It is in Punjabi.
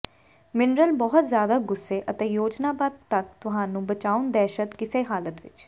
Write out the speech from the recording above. ਮਿਨਰਲ ਬਹੁਤ ਜ਼ਿਆਦਾ ਗੁੱਸੇ ਅਤੇ ਯੋਜਨਾਬੱਧ ਤੱਕ ਤੁਹਾਨੂੰ ਬਚਾਉਣ ਦਹਿਸ਼ਤ ਕਿਸੇ ਹਾਲਤ ਵਿਚ